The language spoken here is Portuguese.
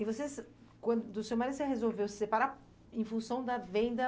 E você, quan, do seu marido, você resolveu se separar em função da venda